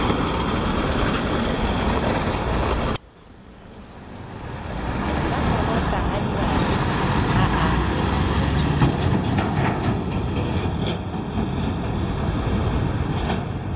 la korota hannyane ha a